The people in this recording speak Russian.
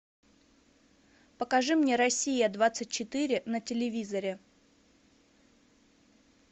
покажи мне россия двадцать четыре на телевизоре